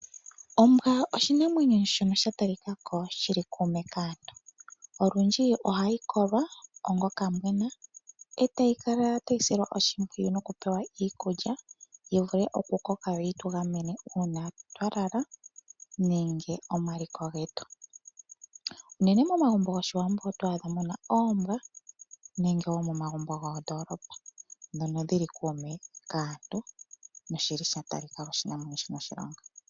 Ombwa oshinamwenyo shono sha talika ko shi li kuume kaantu. Olundji ohayi kolwa omanga okambwena e tayi kala taka silwa oshimpwiyu nokupewa iikulya yi vule okukoka, opo yi tu gamene uusiku twa lala nenge omaliko getu. Unene momagumbo gOshiwambo oto adha mu na oombwa nenge wo momagumbo gomoondoolopa, ndhono dhi li kuume kaantu nosha talika ko oshinamwenyo shi na oshilonga.